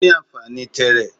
o ni anfani tẹẹrẹ